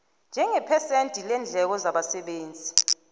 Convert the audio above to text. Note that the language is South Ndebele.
njengephesenti leendleko zabasebenzi